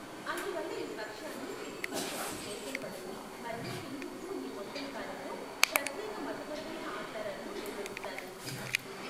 అందువల్ల ఈ పక్షాన్ని పితృపక్షం అని పేర్కొనబడింది మరియు హిందువులు ఈ మొత్తం కాలంలో ప్రత్యేక మతపరమైన ఆచారాలను నిర్వహిస్తారు.